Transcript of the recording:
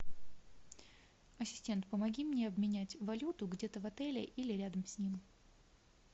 ассистент помоги мне обменять валюту где то в отеле или рядом с ним